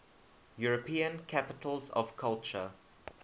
european capitals of culture